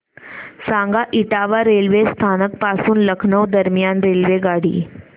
सांगा इटावा रेल्वे स्थानक पासून लखनौ दरम्यान रेल्वेगाडी